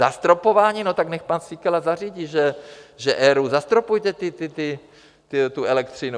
Zastropování, no tak nechť pan Síkela zařídí, že ERÚ, zastropujte tu elektřinu.